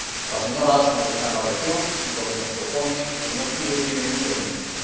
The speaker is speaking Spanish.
La señora Ashton está en la región y lo que nos propone el señor Füle tiene mucho sentido.